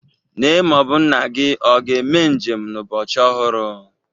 Nne ma ọ bụ nna gị ọ ga-eme njem n'ụbọchị ọhụrụ?